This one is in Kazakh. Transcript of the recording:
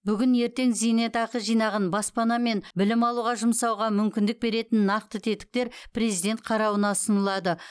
бүгін ертең зейнетақы жинағын баспана мен білім алуға жұмсауға мүмкіндік беретін нақты тетіктер президент қарауына ұсынылады